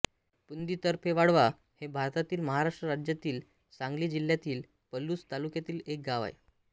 पुंदी तर्फे वाळवा हे भारतातील महाराष्ट्र राज्यातील सांगली जिल्ह्यातील पलुस तालुक्यातील एक गाव आहे